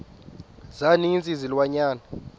za ninzi izilwanyana